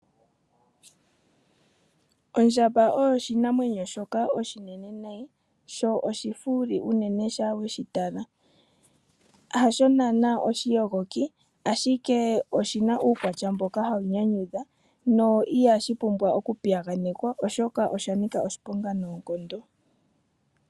Ondjamba oyo oshinamwenyo shoka oshinene nayi sho oshifuuli unene ngele weshi tala. Hasho naana oshiyogoki, ashike oshi na uukwatya mboka hawu nyanyudha, ihashi pumbwa okupiyaganekwa osha nika oshiponga noonkondo.